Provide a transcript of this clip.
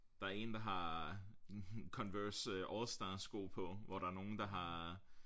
Der er en der har Converse all star sko på hvor der er nogen der har